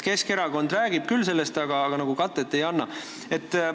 Keskerakond räägib sellest küll, aga katet nagu ei anna.